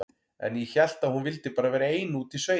En ég hélt að hún vildi bara vera ein úti í sveit.